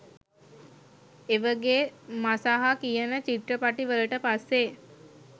ඒවගේ මසහ කියන චිත්‍රපටි වලට පස්සේ